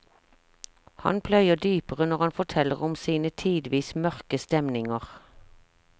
Han pløyer dypere når han forteller om sine tidvis mørke stemninger.